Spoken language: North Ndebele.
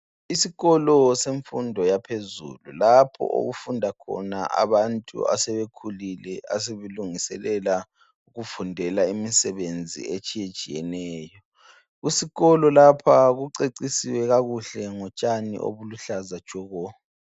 Isikolo semfundo yaphezulu lapho okufunda khona abantu asebekhulile aselungela ukufunda imsebenzi etshiye tshiyeneyo eskolo lapha kucecisiwe kakuhle ngotshani oluluhlaza tshoko